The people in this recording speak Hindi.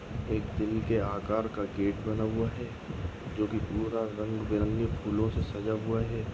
एक दिल के आकार गेट बना हुआ है जो की पूरा रंग बे रंगी फूलो से सजाया हुआ है।